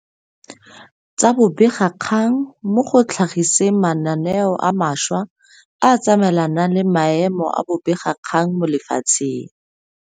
Tsa bobegakgang mo go tlha giseng mananeo a mantšhwa a a tsamaelanang le maemo a bobegakgang mo lefatsheng.